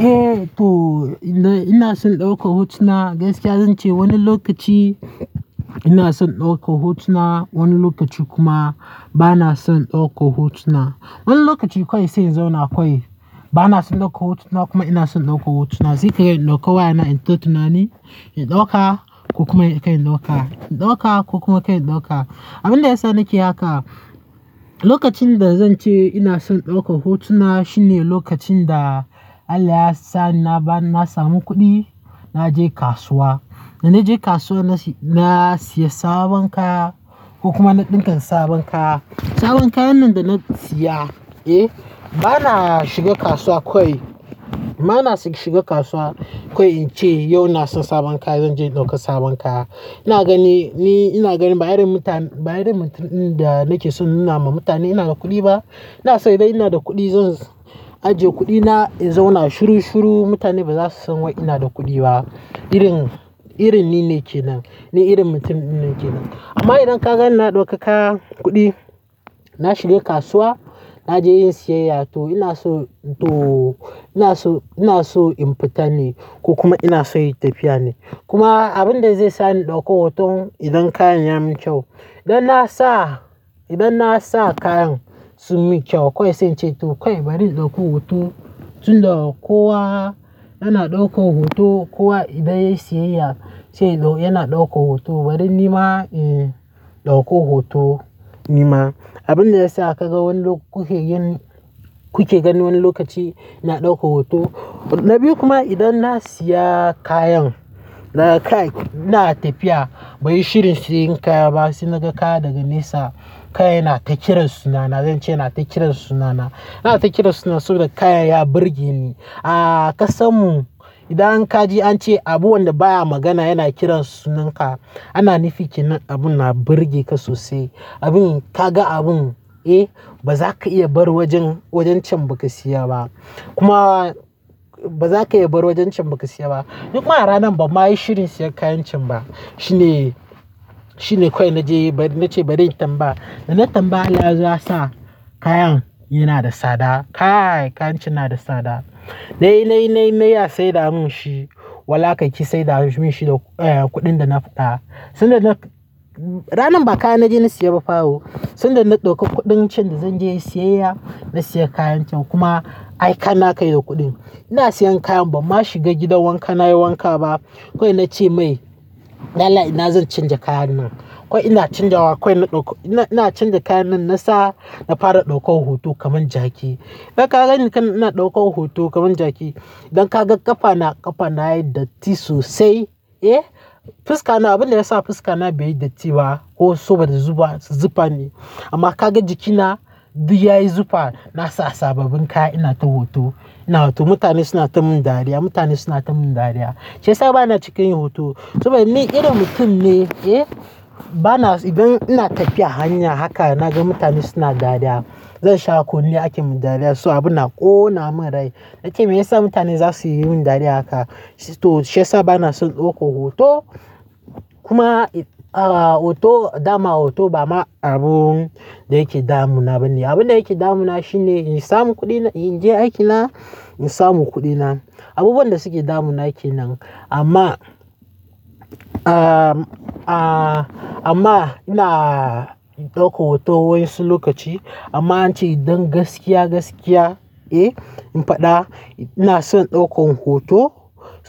Eh to ina son daukar hotuna gaskiya zan ce wani lokaci ina son ɗaukar hotuna, wani lokaci kuma ba na son ɗauka hotuna. Wani lokaci kawai sai in zauna kwai, bana san ɗaukan hotuna kuma ina son ɗaukan hotuna. Sai kai ni ɗauka wayana in ta tunani ni, in ɗauka ko kuma kai ɗauka, in ɗauka ko kuma kai ɗauka. Abin da ya sa nake haka, lokacin da zan ce ina son ɗaukan hotuna shine lokacin da Allah ya sa na samu kuɗi, na je kasuwa, da na je kasuwa na siya sabon kaya ko kuma na ɗinka sabon kaya. Sabon kayan nan da na siya, eh bana shiga kasuwa kawai, bana shiga kasuwa kawai in ce yau na so sabon kaya zan je in ɗauki sabon kaya. Ina gani, ni ina gani ba irin mutum, ba irin mutumin da nake so nuna ma mutane ina da kuɗi ba. iNa sai dai ina da kuɗi, zan ajiye kuɗina in zauna shiru shiru, mutane ba za su san wai ina da kuɗi ba. Irin, irin ni ne kenan, ni irin mutumin ne kenan. Amma idan ka ga ina ɗauka kaya, kuɗi, na shiga kasuwa, na je in siyayya to ina so, to ina so, ina so in fita ne ko kuma ina so in tafi ya ne. Kuma abin da zai sa ni ɗauko hoton idan kayan ya min kyau. Idan na sa, idan na sa kayan sun min kyau kawai sai in ce to kawai bari in ɗauko hoto, tun da ko wa yana ɗaukon hoto, kuwa idan ya yi siyayya yana ɗauko hoto. Bari nima eh ɗauko hoto nima. Abin da ya sa ka ga wani lok-- kuke yin, kuke ganin wani lokaci ina ɗaukan hoto. Na biyu kuma idan na siya kayan, na kai, ina tafiya, bani shirin siyan kaya ba sai naga kaya daga nesa, kaya yana ta kiran sunana, zan ce yana ta kiran sunana. Yana ta kiran sunan saboda kaya ya burge ni. A kasammu, idan kaji an ce abu wanda baya magana yana kiran sunan ka, ana nufi kenan abun na burge ka sosai. Abin ka ga abun, eh ba za ka iya bar wajen, wajen can ba ka siya ba. Kuma ba za ka iya bar wajen can ba ka siya ba. Ni kuma aranan bamma yi shirin siyan kayan can ba. Shine, shine kawai na je bari, na ce bari in tambaya. Da na tambaya Allah ya zo ya sa kayan yana da sada. Kaya, kayan can yana da sada. Na yi, na yi, na yi, na yi a saida mun shi. Wallahi ka ki saida mun shi da, eh kuɗin da na fita. Sanda na-- ranan ba kaya na je na siya ba fa o. Sanda na ɗauki kuɗin can da zan je in siyayya, na siya kayan can kuma ai ka na kai da kuɗin. Ina siyan kayan bamma shiga gidan wanka na yi wanka ba. Kawai na ce mai dan Allah ina zan canja kayan nan. Kawai ina canjawa kawai. Na ɗauko, ina, ina canja kayan nan na sa, na fara ɗaukan hoto kaman jaki. Idan ka gani kana ina ɗaukan hoto kaman jaki, idan ka ga ƙafa na, ƙafa na yayi datti sosai, eh fuska na abin da ya sa fuska na bai yi datti ba ko so ba zufa, zifa ne. Amma ka ga jiki na duk yayi zufa. Na sa sababin kaya ina ta hoto, ina hoto. Mutane suna ta mun dariya, mutane suna ta mun dariya. Shi yasa bana cika yin hoto saboda ni irin mutum ne, eh bana idan ina tafiya hanya haka naga mutane suna dariya, zan sha kon ni ake ma dariya so abun na ƙona mun rai. Nace me ya sa mutane za su yi min dariya haka? To shi yasa ba na son ɗauko hoto. Kuma ah hoto, dama hoto bana abun da yake damuna bane. Abin da yake damuna shine in samu kuɗina, in je aiki na, in samu kuɗina. Abubuwan da suke damuna ke nan. Amma, ah amma ina ɗauko hoto wasu lokaci. Amma in ce idan gaskiya, gaskiya, eh in faɗa ina son ɗaukan hoto,